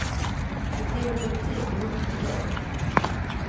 Du driver politik i vått och torrt.